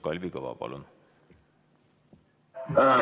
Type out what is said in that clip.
Kalvi Kõva, palun!